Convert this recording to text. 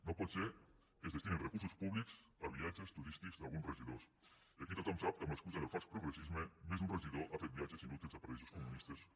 no pot ser que es destinin recursos públics a viatges turístics d’alguns regidors i aquí tothom sap que amb l’excusa del fals progressisme més d’un regidor ha fet viatges inútils a paradisos comunistes com